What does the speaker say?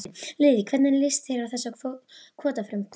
Lillý: Hvernig líst þér á þessi kvótafrumvörp?